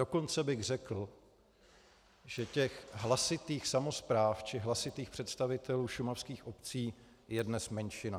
Dokonce bych řekl, že těch hlasitých samospráv či hlasitých představitelů šumavských obcí je dnes menšina.